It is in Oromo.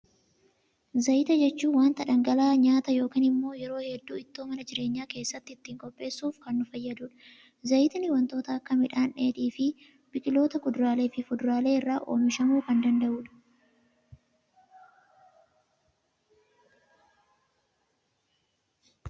Zayita jechuun, waanta dhangala'aa nyaata yookaan immoo yeroo hedduu ittoo mana jireenya keessatti ittiin qopheessuuf kan nu fayyadudha. Zayitni waantota akka midhaan dheedhii, fi biqiloota kuduraalee fi fuduraalee irraa oomishamuu kan danda'udha.